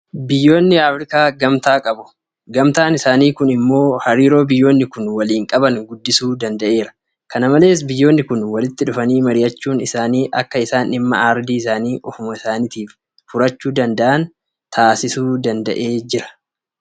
Akka aardii afriikaatti gamtaa qabu. Gamtaan isaanii kun immoo hariiroo biyyoonni kun waliin qaban guddisuu danda'eera. Kana malees biyyoonni kun walitti dhufanii mari'achuun isaanii akka isaan dhimma aardii isaanii ofuma isaaniitiif furachuu danda'an taasisuu danda'eera.